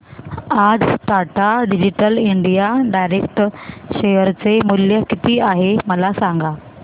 आज Tata digital India direct share चे मूल्य किती आहे मला सांगा